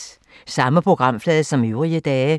Samme programflade som øvrige dage